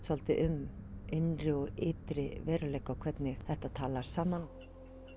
svolítið um innri og ytri veruleika og hvernig þetta talar saman